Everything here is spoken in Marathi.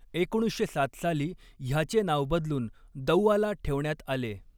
एकोणीसशे सात साली ह्याचे नाव बदलून दौआला ठेवण्यात आले.